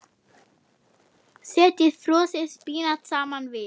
Setjið frosið spínat saman við.